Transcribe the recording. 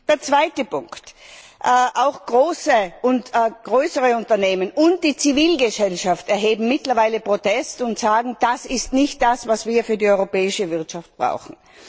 Der zweite Punkt Auch größere Unternehmen und die Zivilgesellschaft erheben mittlerweile Protest und sagen, das ist nicht das, was wir für die europäische Wirtschaft brauchen.